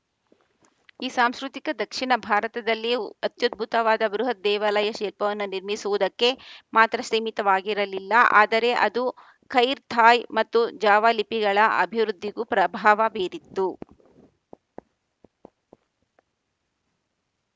ಈ ಸಾಂಸ್ಕೃತಿಕ ದಕ್ಷಿಣ ಭಾರತದಲ್ಲಿಯು ಅತ್ಯದ್ಭುತವಾದ ಬೃಹತ್‌ ದೇವಾಲಯ ಶಿಲ್ಪವನ್ನು ನಿರ್ಮಿಸುವುದಕ್ಕೆ ಮಾತ್ರ ಸೀಮಿತವಾಗಿರಲಿಲ್ಲ ಆದರೆ ಅದು ಖೈರ್ ಥಾಯ್‌ ಮತ್ತು ಜಾವಾ ಲಿಪಿಗಳ ಅಭಿವೃದ್ಧಿಗೂ ಪ್ರಭಾವ ಬೀರಿತ್ತು